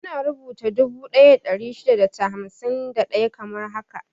Ana rubuta dubu daya da ɗari shida da hamsin da ɗaya kamar haka 1,651.